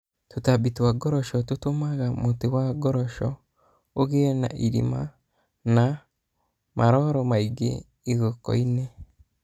Tũtambi twa ngoroc tũtũmaga mũtĩ wa mũkoroco ũgĩe irima na na maroro mairo igokoinĩ..